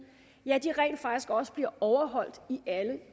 rent faktisk også bliver overholdt